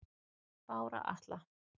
Bára Atla